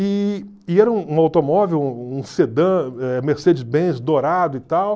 E e era um automóvel, um sedã, eh Mercedes-Benz dourado e tal.